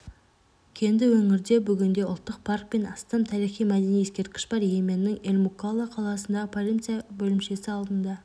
кенді өңірде бүгінде ұлттық парк пен астам тарихи-мәдени ескерткіш бар йеменнің эль-мукалла қаласындағы полиция бөлімшесі алдында